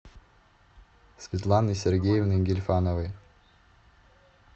светланы сергеевны гильфановой